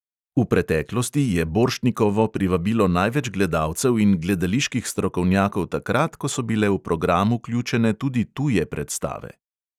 V preteklosti je borštnikovo privabilo največ gledalcev in gledaliških strokovnjakov takrat, ko so bile v program vključene tudi tuje predstave.